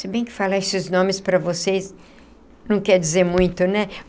Se bem que falar esses nomes para vocês não quer dizer muito, né?